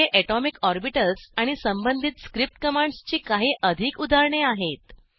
येथे atomic orbitals आणि संबंधित स्क्रिप्ट कमांडस् ची काही अधिक उदाहरणे आहेत